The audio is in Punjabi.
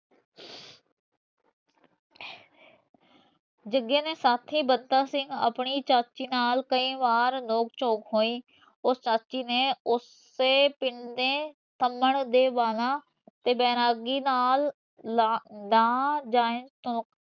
ਜਗੇ ਦੇ ਸਾਥੀ ਬਤਾ ਸਿੰਘ ਆਪਣੀ ਚਾਚੀ ਨਾਲ ਕਈ ਬਾਰ ਨੋਕ ਝੋਕ ਹੋਈ ਉਸ ਸਾਥੀ ਨੇ ਓਸੇ ਪਿੰਡ ਦੇ ਤੇ ਵੈਰਾਗੀ ਨਾਲ